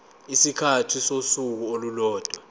isikhathi sosuku olulodwa